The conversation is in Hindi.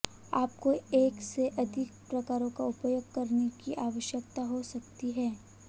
आपको एक से अधिक प्रकारों का उपयोग करने की आवश्यकता हो सकती है